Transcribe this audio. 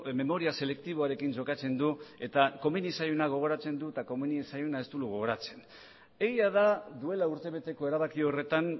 memoria selektiboarekin jokatzen du eta komeni zaiona gogoratzen du eta komeni ez zaiona ez du gogoratzen egia da duela urtebeteko erabaki horretan